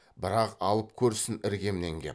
бірақ алып көрсін іргемнен кеп